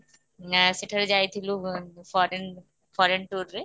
ନା ସେଠାକୁ ଯାଇଥିଲୁ foreign foreign tour ରେ